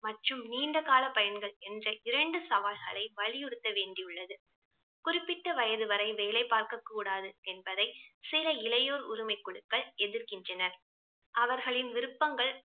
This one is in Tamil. மற்றும் நீண்ட கால பயன்கள் என்று இரண்டு சவால்களை வலியுறுத்த வேண்டியுள்ளது. குறிப்பிட்ட வயது வரை வேலை பார்க்கக் கூடாது என்பதை சில இளையோர் உரிமைக் குழுக்கள் எதிர்கின்றனர். அவர்களின் விருப்பங்கள்